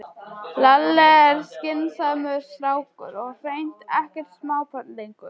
Lalli er skynsamur strákur og hreint ekkert smábarn lengur.